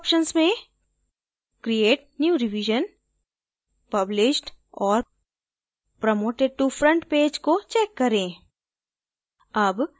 default options में create new revision published और promoted to front page को check करें